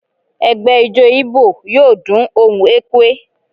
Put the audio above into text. Ẹgbẹ́ ijó Igbo yọọ dún ohún ekwe